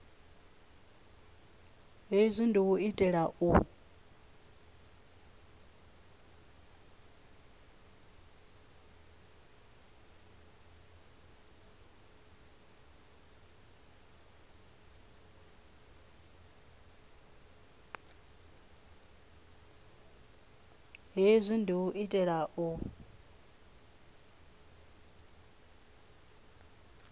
hezwi ndi u itela u